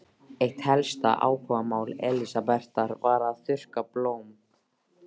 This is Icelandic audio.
Eitt helsta áhugamál Elsabetar var að þurrka blóm.